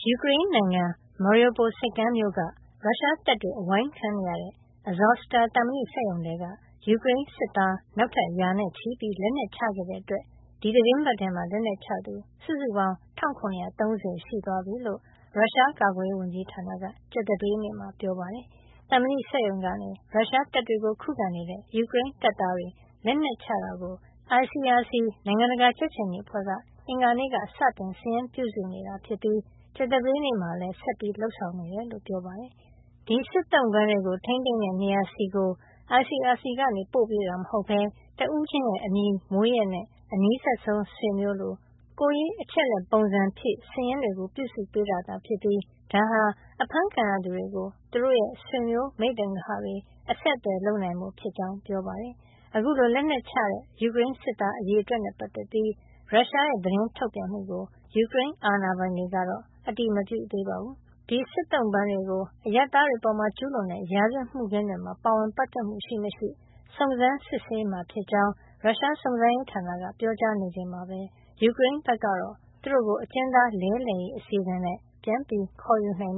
ယူကရိန်းနိုင်ငံ Mariupol ဆိပ်ကမ်းမြို့မှာရှိတဲ့ ရုရှားတပ်တွေ အဝိုင်းခံနေရတဲ့ Azovstal သံမဏိစက်ရုံထဲက ယူကရိန်းစစ်သား နောက်ထပ်ရာနဲ့ချီပြီး လက်နက်ချခဲ့တာကြောင့် ဒီသီတင်းပတ်ထဲမှာ လက်နက်ချသူစုစုပေါင်း ၁၇၃၀ ရှိသွားပြီလို့ ရုရှားကာကွယ်ရေး ဝန်ကြီးဌာနက ကြာသပတေးနေ့မှာ ပြောပါတယ်။ သံမဏိစက်ရုံကနေ ရုရှားတပ်တွေကိုခုခံနေတဲ့ ယူကရိန်းတပ်သားတွေ လက်နက်ချတာကို ICRC နိုင်ငံတကာ ကြက်ခြေနီအဖွဲ့က အင်္ဂါနေ့ကစတင် စာရင်းပြုစုနေတာဖြစ်ပြီး ကြာသပတေးနေ့မှာလည်း ဆက်လက်လုပ်ဆောင်နေတယ်လို့ ပြောပါတယ်။ ဒီစစ်သုံ့ပန်းတွေကို ထိန်းသိမ်းတဲ့နေရာဆီ ICRC က ပို့ပေးတာ မဟုတ်ပဲ တဦးချင်းရဲ့ အမည်၊ မွေးရက် နဲ့ အနီးစပ်ဆုံးဆွေမျိုး လို ကိုယ်ရေးအချက်လက်ပုံစံဖြည်၊့ စာရင်းတွေကို ပြုစုပေးတာသာ ဖြစ်ပြီး ဒါဟာ အဖမ်းခံရသူတွေကို သူတို့ရဲ့ ဆွေမျိုး မိတ်သင်္ဂဟတွေ အဆက်အသွယ်လုပ်နိုင်ဖို့ ဖြစ်ကြောင်း ပြောပါတယ်။ အခုလို လက်နက်ချတဲ့ ယူကရိန်းစစ်သား အရေအတွက်နဲ့ ပတ်သက်ပြီး ရုရှားရဲ့ သတင်းထုတ်ပြန်မှုကို ယူကရိန်းအာဏာပိုင်တွေကတော့ အတည်မပြုသေးပါဘူး။ ဒီစစ်သုံ့ပန်းတွေကို အရပ်သားတွေအပေါ် ကျူးလွန်တဲ့ ရာဇဝတ်မှုခင်းတွေမှာ ပါဝင်ပတ်သက်မှု ရှိမရှိ စုံစမ်းစစ်ရေးမှာ ဖြစ်ကြောင်း ရုရှားစုံစမ်းရေးဌာနက ပြောကြားနေချိန်မှာပဲ ယူကရိန်းဘက်ကတော့ သူတို့ကို အကျဉ်းသားလဲလှယ်ရေး အစီစဉ်နဲ့ ပြန်ခေါ်ယူနိုင်